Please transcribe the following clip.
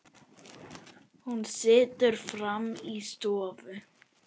Hún situr frammi í stofu.